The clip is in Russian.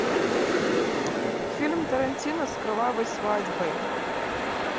фильм тарантино с кровавой свадьбой